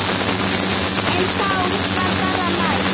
En þá var bara læst.